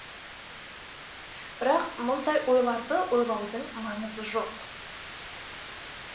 бірақ мұндай ойларды ойлаудың маңызы жоқ